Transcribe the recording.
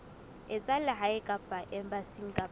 tsa lehae kapa embasing kapa